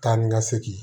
Taa ni ka segin